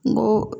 N go